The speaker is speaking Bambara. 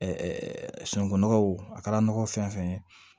sunungunɔgɔw a kɛra nɔgɔ fɛn fɛn ye